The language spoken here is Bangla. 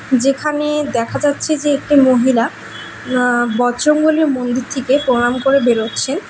যেখানে দেখা যাচ্ছে যে একটি মহিলা আ বজরংবলির মন্দির থেকে প্রণাম করে বেরোচ্ছেন।